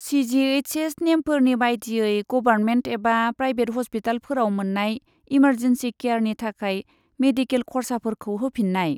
CGHS. नेमफोरनि बायदियै, government एबा प्रायबेट हस्पिटालफोराव मोन्नाय इमारजेन्सि केयारनि थाखाय मेडिकेल खर्साफोरखौ होफिननाय।